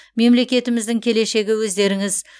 мемлекетіміздің келешегі өздеріңіз